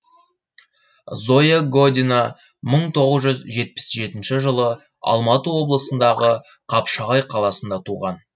зоя година мың тоғыз жүз жетпіс жетінші жылы алматы облысындағы қапшағай қаласында туған